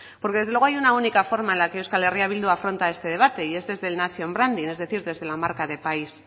porque desde luego hay una única forma en que eh bildu afronta este debate y este es del nation branding es decir desde la marca de país